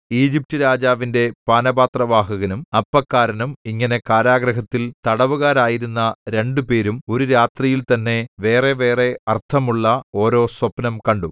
ഈജിപ്റ്റുരാജാവിന്റെ പാനപാത്രവാഹകനും അപ്പക്കാരനും ഇങ്ങനെ കാരാഗൃഹത്തിൽ തടവുകാരായിരുന്ന രണ്ടുപേരും ഒരു രാത്രിയിൽ തന്നെ വേറെവേറെ അർത്ഥമുള്ള ഓരോ സ്വപ്നം കണ്ടു